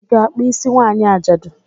I ga-akpụ isi nwanyị ajadu?